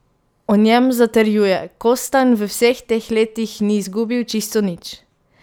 O njem zatrjuje: "Kostanj v vseh teh letih ni zgubil čisto nič.